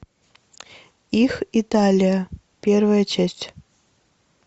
их италия первая часть